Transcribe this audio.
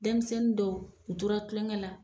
Denmisɛnnin dɔw u tora kulonkɛ la